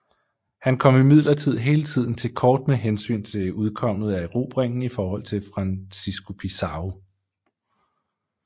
Han kom imidlertid hele tiden til kort med hensyn til udkommet af erobringen i forhold til Francisco Pizarro